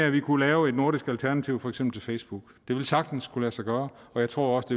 at vi kunne lave et nordisk alternativ til for eksempel facebook det ville sagtens kunne lade sig gøre og jeg tror også